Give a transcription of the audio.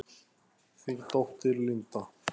Þín dóttir, Linda.